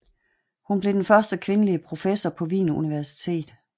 Hun blev den første kvindelige professor på Wien Universitet